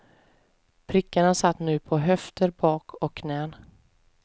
Prickarna satt nu på höfter, bak och knän.